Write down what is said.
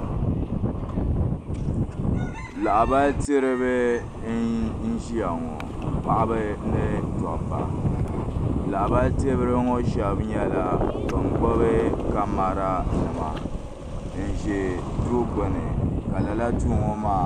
Lahabali tiri ba n ziya ŋɔ paɣaba ni dabba lahabali tiri ba ŋɔ shɛba nyɛla bini gbubi kamara nima n zɛ duu gbuni ka lala duu ŋɔ maa.